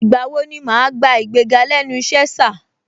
Ìgbà wo ni màá gbà igbéga lẹ́nu ìṣe, sà?